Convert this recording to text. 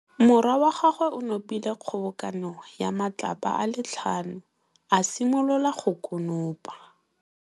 Morwa wa gagwe o nopile kgobokanô ya matlapa a le tlhano, a simolola go konopa.